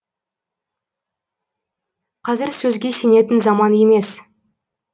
қазір сөзге сенетін заман емес